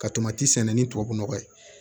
Ka sɛnɛ ni tubabu nɔgɔ ye